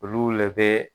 Olu le be